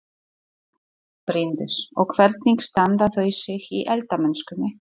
Bryndís: Og hvernig standa þau sig í eldamennskunni?